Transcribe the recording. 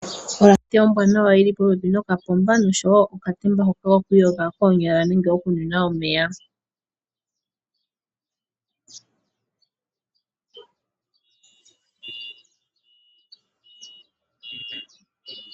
Olandiyo ombwanawa yili popepi nokapomba noshowo okatemba hoka ko kwiyonga konyala nenge okunwinwa omeya.